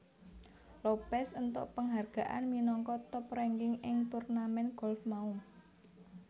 Lopez entuk penghargaan minangka top ranking ing turnamen golf mau